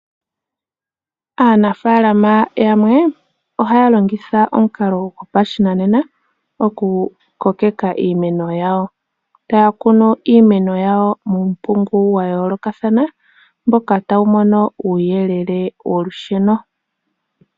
Aanafalama yamwe ohalongitha omunkalo go pashinanena oku kokeka iimeno yawo, takunu iimeno yawo mupungu wayoloka thana mboka tawumono uyelele wolusheno.